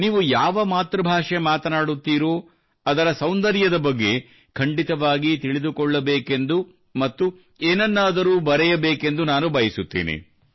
ನೀವು ಯಾವ ಮಾತೃಭಾಷೆ ಮಾತನಾಡುತ್ತೀರೋ ಅದರ ಸೌಂದರ್ಯದ ಬಗ್ಗೆ ಖಂಡಿತವಾಗಿಯೂ ತಿಳಿದುಕೊಳ್ಳಬೇಕೆಂದು ಮತ್ತು ಏನನ್ನಾದರೂ ಬರೆಯಬೇಕೆಂದು ನಾನು ಬಯಸುತ್ತೇನೆ